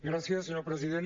gràcies senyor president